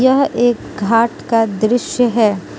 यह एक घाट का दृश्य है।